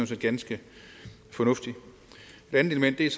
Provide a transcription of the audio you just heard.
set ganske fornuftigt et andet element er